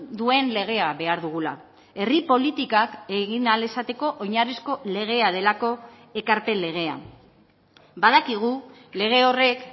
duen legea behar dugula herri politikak egin ahal izateko oinarrizko legea delako ekarpen legea badakigu lege horrek